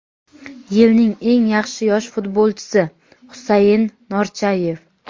"Yilning eng yaxshi yosh futbolchisi" — Husain Norchayev.